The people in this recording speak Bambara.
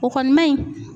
O kɔni ma ɲi